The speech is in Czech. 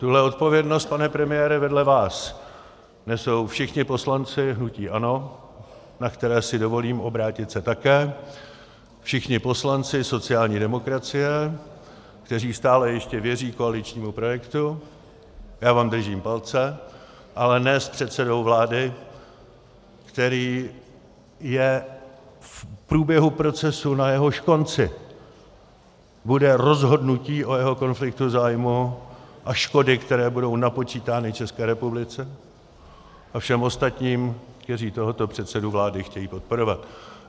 Tuhle odpovědnost, pane premiére, vedle vás nesou všichni poslanci hnutí ANO, na které si dovolím obrátit se také, všichni poslanci sociální demokracie, kteří stále ještě věří koaličnímu projektu, já vám držím palce, ale ne s předsedou vlády, který je v průběhu procesu, na jehož konci bude rozhodnutí o jeho konfliktu zájmů a škody, které budou napočítány České republice a všem ostatním, kteří tohoto předsedu vlády chtějí podporovat.